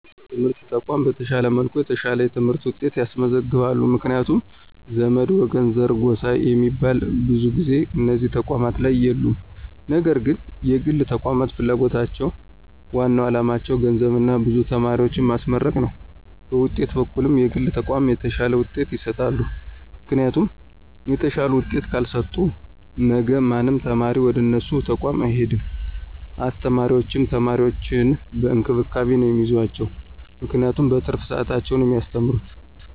የመንግሥት የትምህርት ተቋማት በተሻለ መልኩ የተሻለ የትምህርት ውጤት ያስመዘግባሉ ምክንያቱም ዘመድ፣ ወገን፣ ዘር፣ ጎሳ ሚባል ብዙ ጊዜ እነዚህ ተቋማት ላይ የሉም ነገር ግን የግል ተቋማት ፍላጎታቸው ዋናው አላማቸው ገንዘብና ብዙ ተማሪዎችን ማስመረቅ ነው በውጤት በኩልም የግል ተቋማት የተሻለ ውጤት ይሰጣሉ ምክንያቱም የተሻለ ውጤት ካልሰጡ ነገ ማንም ተማሪ ወደነሱ ተቋም አይሄድም አስተማሪዎችም ተማሪዎችን በእንክብካቤ ነው ሚይዟቸው ምክንያቱም በትርፍ ሰዓታቸው ነው ሚያስተምሩት።